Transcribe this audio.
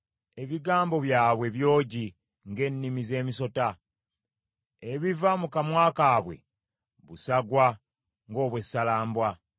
Ebigambo byabwe byogi ng’ennimi z’emisota; ebiva mu kamwa kaabwe busagwa ng’obw’essalambwa.